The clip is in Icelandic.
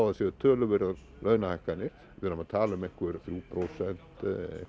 það séu töluverðar launahækkanir við erum að tala um einhver þrjú prósent